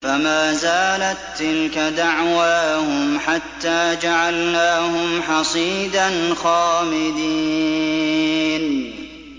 فَمَا زَالَت تِّلْكَ دَعْوَاهُمْ حَتَّىٰ جَعَلْنَاهُمْ حَصِيدًا خَامِدِينَ